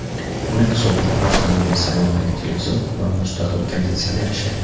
Uning hisobiga avtomobil salonidagi televizor va mustaqil konditsioner ishlaydi.